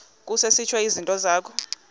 kusetshwe izinto zakho